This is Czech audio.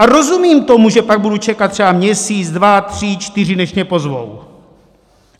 A rozumím tomu, že pak budu čekat třeba měsíc, dva, tři, čtyři, než mě pozvou.